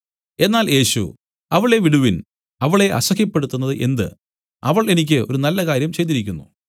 എന്നാൽ യേശു അവളെ വിടുവിൻ അവളെ അസഹ്യപ്പെടുത്തുന്നത് എന്ത് അവൾ എനിക്ക് ഒരു നല്ലകാര്യം ചെയ്തിരിക്കുന്നു